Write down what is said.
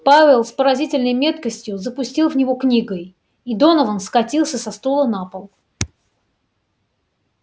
пауэлл с поразительной меткостью запустил в него книгой и донован скатился со стула на пол